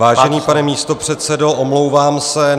Vážený pane místopředsedo, omlouvám se.